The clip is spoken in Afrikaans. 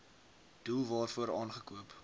doel waarvoor aangekoop